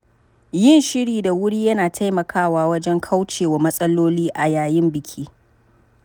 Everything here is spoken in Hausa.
Yin shiri da wuri yana taimakawa wajen kaucewa matsaloli a yayin biki.